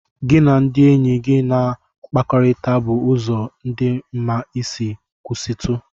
Gị na ndị enyi gị na-akpakọrịta bụ ụzọ dị mma isi kwụsịtụ.